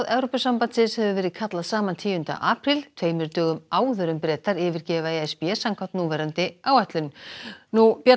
Evrópusambandins hefur verið kallað saman tíunda apríl tveimur dögum áður en Bretar yfirgefa e s b samkvæmt núverandi áætlun björn